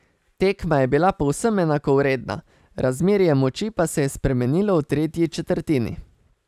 Tekma je bila povsem enakovredna, razmerje moči pa se je spremenilo v tretji četrtini.